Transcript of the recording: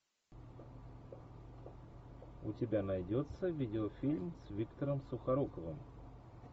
у тебя найдется видеофильм с виктором сухоруковым